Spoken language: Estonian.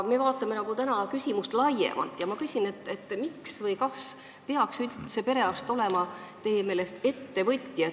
Me vaatame aga täna küsimust laiemalt ja ma küsin, kas teie arvates perearst peaks üldse olema ettevõtja.